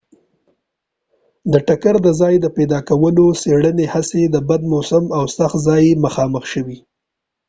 د ټکر د ځای د پیدا کولو د څیړنې هڅې د بد موسم او سخت ځای سره مخامخ شوي